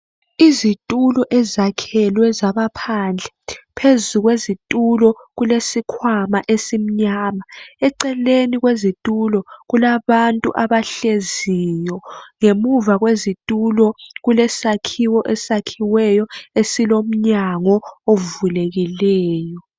Izitulo ezakhelwe zaba phandle, phezu kwezitulo kulesikhwama esimnyama, eceleni kwezitulo kulabantu abahleziyo, ngemuva kwezitulo kulesakhiwo esakhiweyo esilomnyango ovulekileyo